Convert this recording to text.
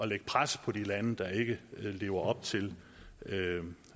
lægge pres på de lande der ikke lever op til